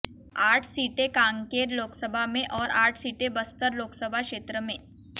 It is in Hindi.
आठ सीटें कांकेर लोकसभा में और आठ सीटें बस्तर लोकसभा क्षेत्र में